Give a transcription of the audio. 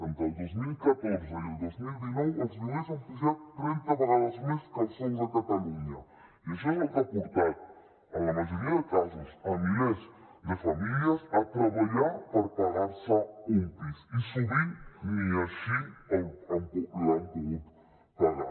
entre el dos mil catorze i el dos mil dinou els lloguers han pujat trenta vegades més que els sous a catalunya i això és el que ha portat en la majoria de casos milers de famílies a treballar per pagar se un pis i sovint ni així l’han pogut pagar